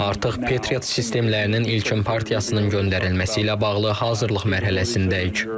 Artıq Patriot sistemlərinin ilkin partiyasının göndərilməsi ilə bağlı hazırlıq mərhələsindəyik.